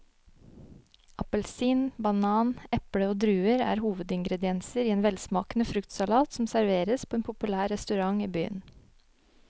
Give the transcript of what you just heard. Appelsin, banan, eple og druer er hovedingredienser i en velsmakende fruktsalat som serveres på en populær restaurant i byen.